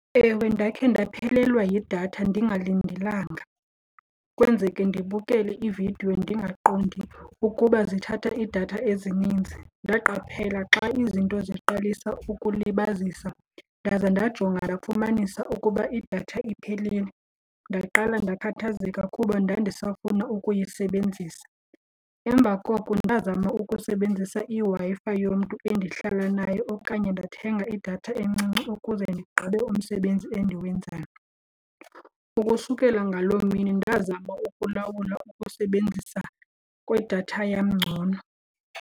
Ewe, ndakhe ndaphelelwa yidatha ndingalindelanga. Kwenzeke ndibukele iividiyo ndingaqondi ukuba zithatha idatha ezininzi, ndaqaphela xa izinto ziqalisa ukulibazisa ndaze ndajonga ndafumanisa ukuba idatha iphelile. Ndaqala ndakhathazeka kuba ndandisafuna ukuyisebenzisa. Emva koko ndazama ukusebenzisa iWi-Fi yomntu endihlala nayo okanye ndathenga idatha eninzi encinci ukuze ndigqibe umsebenzi endiwenzayo. Ukusukela ngaloo mini ndazama ukulawula ukusebenzisa kwedatha yam ngcono.